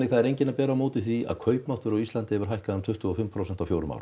það er enginn að bera á móti því að kaupmáttur á Íslandi hefur hækkað um tuttugu og fimm prósent á fjórum árum